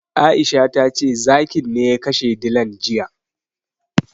Aisha tace zakin ne ya kashe dilan jiya.